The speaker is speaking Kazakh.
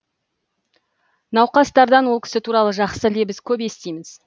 науқастардан ол кісі туралы жақсы лебіз көп естиміз